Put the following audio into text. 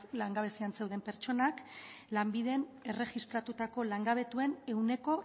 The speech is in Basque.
langabezian zeuden pertsonak lanbiden erregistratutako langabetuen ehuneko